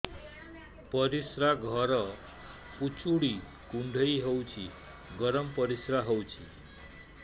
ପରିସ୍ରା ଘର ପୁଡୁଚି କୁଣ୍ଡେଇ ହଉଚି ଗରମ ପରିସ୍ରା ହଉଚି